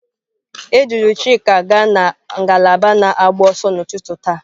A duru Chika gaa na ngalaba na-agba ọsọ n'ụtụtụ taa.